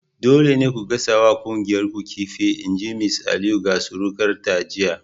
Dole ne ku gasa wa kuyangar ku kifin! in ji Mrs Aliyu ga surukarta jiya!